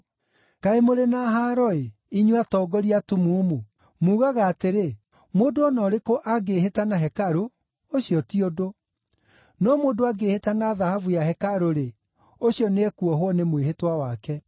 “Kaĩ mũrĩ na haaro-ĩ, inyuĩ atongoria atumumu! Muugaga atĩrĩ, ‘Mũndũ o na ũrĩkũ angĩĩhĩta na hekarũ, ũcio ti ũndũ; no mũndũ angĩĩhĩta na thahabu ya hekarũ-rĩ, ũcio nĩekuohwo nĩ mwĩhĩtwa wake.’